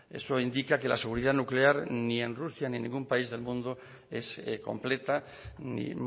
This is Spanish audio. eso indica que la seguridad nuclear ni en rusia ni en ningún país del mundo es completa ni